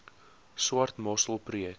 swart mossel projek